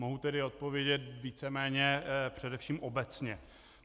Mohu tedy odpovědět víceméně především obecně.